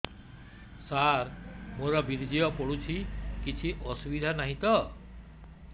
ସାର ମୋର ବୀର୍ଯ୍ୟ ପଡୁଛି କିଛି ଅସୁବିଧା ନାହିଁ ତ